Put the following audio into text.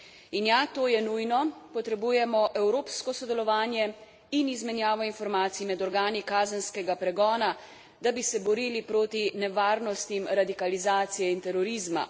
In ja, to je nujno, potrebujemo evropsko sodelovanje in izmenjavo informacij med organi kazenskega pregona, da bi se borili proti nevarnostim radikalizacije in terorizma.